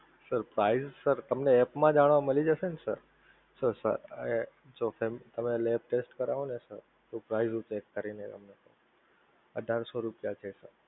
sir price તમને app માં જાણવા મળી જશે ને sir તો sir તમે lab test કરાવો ને sir તો ઘણી રૂપે કરીને અમને અઢારસો રૂપિયા છે sir